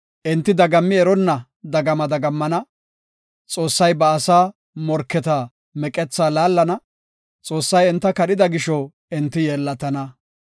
Enti dagammi eronna dagama dagammana; Xoossay ba asaa morketa meqethaa laallana; Xoossay enta kadhida gisho enti yeellatana.